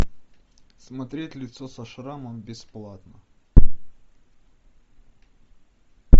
смотреть лицо со шрамом бесплатно